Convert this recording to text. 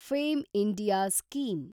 fame India scheme